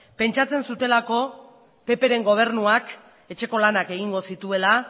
pentsatzen zutelako ppren gobernuak etxeko lanak egingo zituela